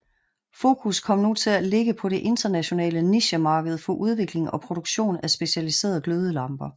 Fokus kom nu til at ligge på det internationale nichemarked for udvikling og produktion af specialiserede glødelamper